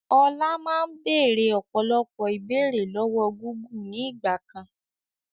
Ọlá máa ń béèrè ọ̀pọ̀lọpọ̀ ìbéèrè lọ́wọ́ Gúgù ni ìgbàkan.